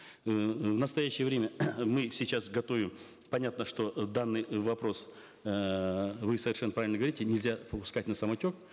эээ в настоящее время мы сейчас готовим понятно что э данный э вопрос эээ вы совершенно правильно говорите нельзя пускать на самотек